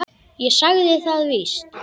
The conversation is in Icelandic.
Ég sagði það víst.